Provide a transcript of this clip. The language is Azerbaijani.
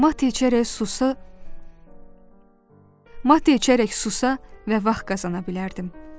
Mate içərək susa və vaxt qazana bilərdim.